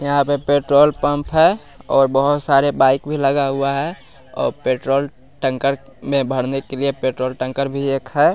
यहां पे petrol pump है और बहोत सारे बाइक भी लगा हुआ है अ पेट्रोल टंकर में भरने के लिए पेट्रोल टंकर भी एक है।